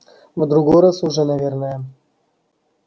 в другой раз уже наверное